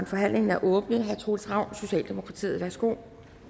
forhandlingen er åbnet herre troels ravn socialdemokratiet værsgo